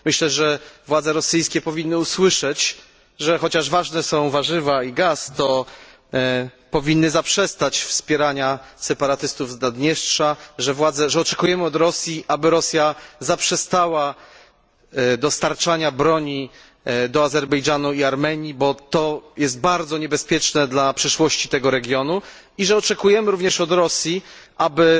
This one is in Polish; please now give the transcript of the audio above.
Myślę, że władze rosyjskie powinny usłyszeć, że chociaż ważne są warzywa i gaz, to powinny zaprzestać wspierania separatystów z Naddniestrza, że oczekujemy od Rosji, aby zaprzestała dostarczania broni do Azerbejdżanu i Armenii, bo to jest bardzo niebezpieczne dla przyszłości tego regionu, i że oczekujemy również od Rosji, aby